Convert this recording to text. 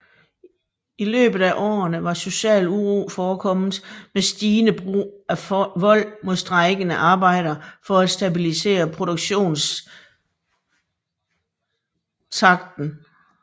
I løbet af årene var social uro forekommet med stigende brug af vold mod strejkende arbejdere for at stabilisere produktionstakten